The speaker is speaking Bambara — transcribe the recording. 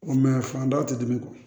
fandaw tɛ dimi kɔ